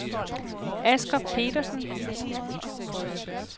Asger Petersen